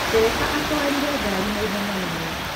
Ndereba atwarire ngaari na ihenya mũno.